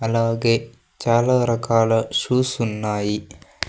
అలాగే చాలా రకాల షూస్ ఉన్నాయి.